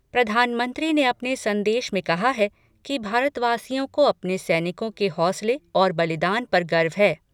प्रधानमंत्री ने अपने संदेश में कहा है कि भारतवासियों को अपने सैनिकों के हौसले और बलिदान पर गर्व है।